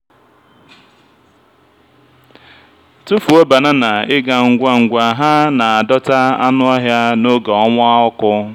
tụfuo banana ị ga ngwa ngwa ha na-adọta anụ ọhịa n'oge ọnwa ọkụ.